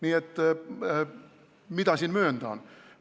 Nii et mida siin möönda on?